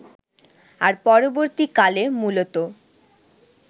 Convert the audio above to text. আর পরবর্তীকালে মূলতঃ